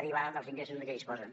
derivada dels ingressos de què disposen